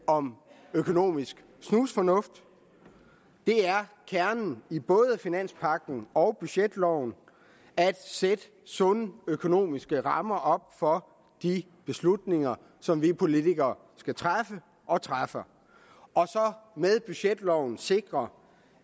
om økonomisk snusfornuft kernen i både finanspagten og budgetloven er at sætte sunde økonomiske rammer op for de beslutninger som vi politikere skal træffe og træffer og med budgetloven sikre